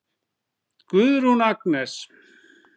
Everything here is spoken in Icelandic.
Guðrún Agnes.